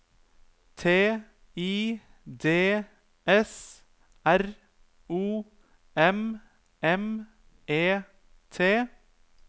T I D S R O M M E T